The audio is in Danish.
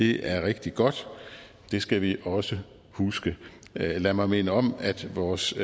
det er rigtig godt det skal vi også huske lad mig minde om at vores